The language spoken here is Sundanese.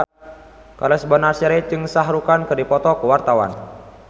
Charles Bonar Sirait jeung Shah Rukh Khan keur dipoto ku wartawan